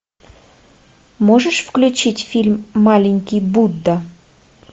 можешь включить фильм маленький будда